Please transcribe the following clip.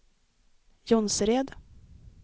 Jonsered